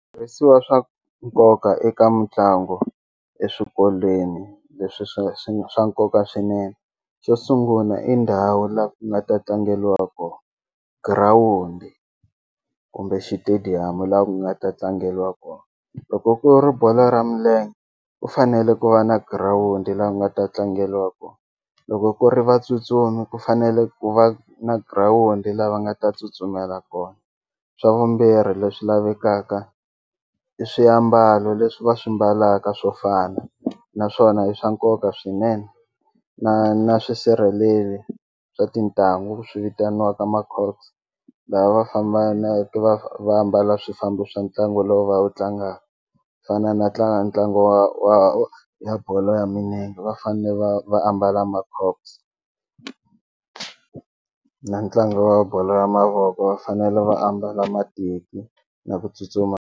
Switirhisiwa swa nkoka eka mitlangu eswikolweni leswi swa swi nga swa nkoka swinene xo sungula i ndhawu la ku nga ta tlangeliwa kona girawundi kumbe xitediyamu laha ku nga ta tlangeliwa kona loko ku ri bolo ra milenge u fanele ku va na girawundi laha u nga ta tlangeliwa kona loko ku ri vatsutsumi ku fanele ku va na girawundi la va nga ta tsutsumela kona swa vumbirhi leswi lavekaka i swiyambalo leswi va swi mbalaka swo fana naswona i swa nkoka swinene na na swisirheleli swa tintangu swi vitaniwaka la va fambana va ambala swifambo swa ntlangu lowu va wu tlangaka fana na tlanga ntlangu wa wa bolo ya milenge va fane va va ambala na ntlangu wa bolo ya mavoko va fanele va ambala mateki na ku tsutsuma.